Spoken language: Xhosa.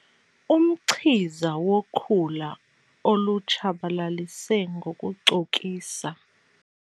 Umchiza wokhula olutshabalalise ngokucokisa.